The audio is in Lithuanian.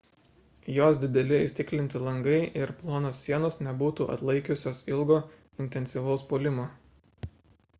jos dideli įstiklinti langai ir plonos sienos nebūtų atlaikiusios ilgo intensyvaus puolimo